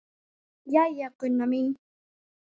Jæja, Gunna mín.